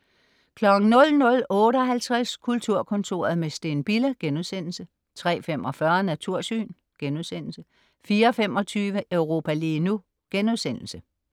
00.58 Kulturkontoret med Steen Bille* 03.45 Natursyn* 04.25 Europa lige nu*